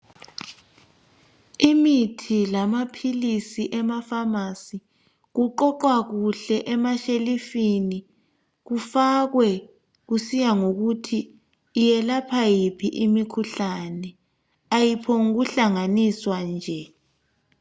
Imithi lamaphilisi ema"pharmacy" kuqoqwa kuhle emashelufini kufakwe kusiya ngokuthi iyelapha iphi imikhuhlane. Ayiphonguhlanganiswa nje.